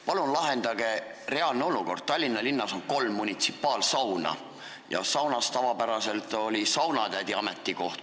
Palun lahendage reaalne olukord: Tallinna linnas on kolm munitsipaalsauna ja saunas on tavapäraselt olnud saunatädi ametikoht.